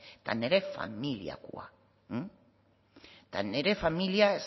eta nire familiakoa eta nire familia